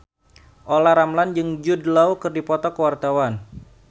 Olla Ramlan jeung Jude Law keur dipoto ku wartawan